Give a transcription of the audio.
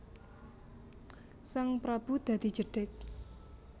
Sang prabu dadi jedheg